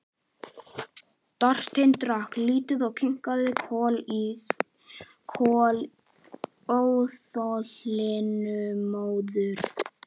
Marteinn drakk lítið og kinkaði kolli óþolinmóður.